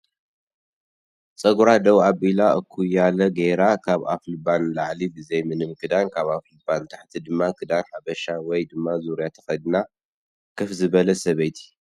ፀጉራ ደው ኣቢላ እኩያለ ገይራ ካብ ኣፍልባ ንላዕሊ ብዘይ ምንም ክዳን ካብ ኣፍልባ ንታሕቲ ድማ ክዳን ሓበሻ ወይ ድማ ዙርያ ተኸዲና ከፍ ዝበለት ሰበይቲ